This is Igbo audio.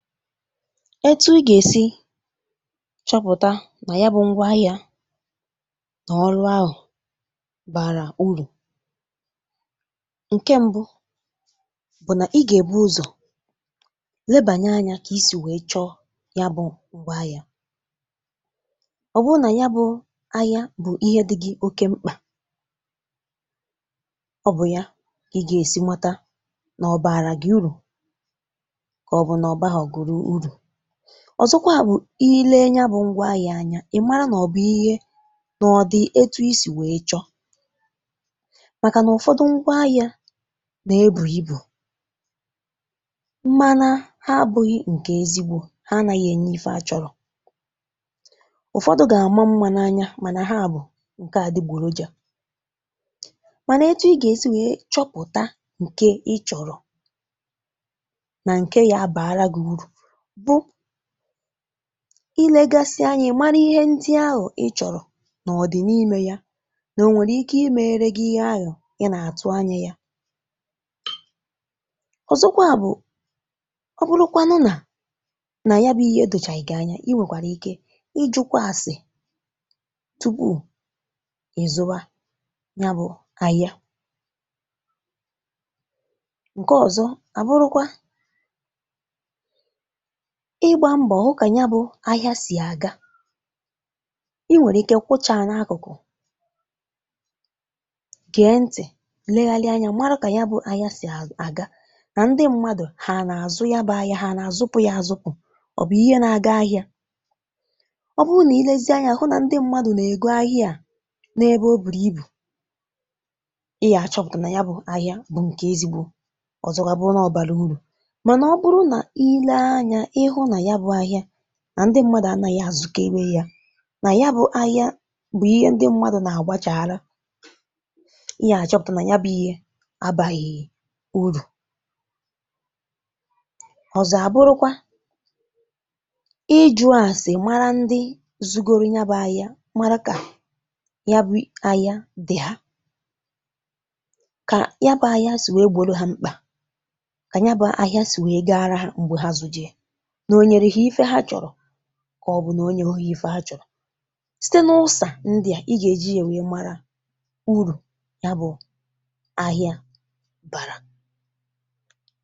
Ètù̇ ì gà-èsi chọpụ̀ta nà ya bụ̇ ngwa ahị̇ȧ nà ọrụ ahụ̀ bàrà urù ǹke, m̀bụ bụ̀ nà ì gà-èbu ụzọ̀ lebànyè anya kà isì wèe chọ ya bụ̇ ngwa ahị̇ȧ, ọ̀ bụ nà ya bụ̇ ahị̇ȧ bụ̀ ihe dị̇ gị oke mkpà ọ bụ̀ ya kà ì gà-èsi mata nà ọ̀ bààrà gị urù màọbụ̀ nà ọ̀ bàrà gị urù, ọ̀zọkwa bụ̀ ile nya bụ̀ ngwa ahị̇ anya, ị̀ mara nà ọ̀ bụ̀ ihe nà ọ̀ dị etù isì wee chọ̇ màkà n’ụ̀fọdụ̀ ngwa ahị̇ȧ nà-ebù ibù, mmànà ha abụghị ǹkè ezigbo ha, anàhị̀ ènye ife achọ̇rọ̀, ụ̀fọdụ̀ gà-ama mma n’anya, mànà ha bụ̀ ǹkè à dịgbòrò jà mànà ètù ì gà-èsi chọpụ̀ta ǹkè ì chọ̀rọ̀ nà ǹkè gà-àbàrà gị urù, bụ̀ ilėgasị anya, mara ihe ndị ahụ̀ ị̀ chọ̀rọ̀, màá ọ̀ dị̀ n’ìmė ya nà, ó nwèrè ike imėre gị ihe ahụ̀ ị nà-àtụ anya ya. Ọ̀zọ̀kwa bụ̀, ọ bụrụkwa nà ya bụ̀ ihe e dụ̀chà gị anya, ì nwèkwàrà ike ị̀jụ̇kwa ese tupu ị̀zụwa ya bụ̀ ahịa. Ǹkè ọ̀zọ̀ à bụrụkwa ịgbȧ mbo hụ kà ya bụ̀ ahịa sì aga, ì nwèrè ike kwụ́chá n’akụ̀kụ̀ gèe ntị̀, leghalị anya, mara kà ya bụ̀ ahịa sì aga nà ndị mmadụ̀ hà n’azụ ya bụ̇ ahịa, hà n’azụpụ̀ ya, azụpụ̀ ọ bụ̀ ihe na-aga ahịa. Ọ bụrụ nà ilėzi ahịa hụ nà ndị mmadụ̀ nà-ègo ahịa à n’ebe ọ bùrù ibù, ì gà-achọ̀pụ̀tà nà ya bụ̇ ahịa bụ̀ ǹkè ezigbò. Ọ̀zọ̀kwa abụ̀rù nà ọ̀ bàrà urù, òzò abụ̀rù nà ilė anya, ọ̀bụlù nà ya bụ́ ahịa nà ndị mmadụ̀ ànàghị̀ àzụ̇kèwè yà, nà ya bụ̇ ahịa bụ̀ ihe ndị mmadụ̀ nà-àgbachàghȧru, ì gà-àchọpụ̀tà nà ya bụ̇ ihe abàghị̀ urù. Ọ̀zọ̀ àbụrụkwa, ijụ̇ ese, mara ndị zùgòrù ya bụ̇ ahịa, mara kà ya bụ̇ ahịa dị̀ ha, kà ya bụ̇ ahịa sì wee gbòro ha mkpà, kà ya bụ̇ ahịa sì wee gà-àrà ha m̀gbè hà zù̇jè. Onye ife achọ̇rọ̀, kà ọ̀ bụ̀ nà onyehí ya ife hà chọ̀rọ̀, site n’ụsà ǹdị̀ à, ì gà-èji ya, nwee yà, mara urù ya bụ̀ ahịa bàrà.